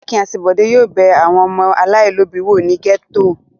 Akin àti Bọ̀dé yóò bẹ ilé àwọn ọmọ aláìlóòbí wò ní gẹ́tò.